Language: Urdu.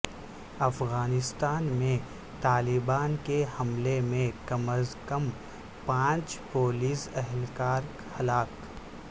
افغانستان میں طالبان کے حملے میں کم از کم پانچ پولیس اہلکار ہلاک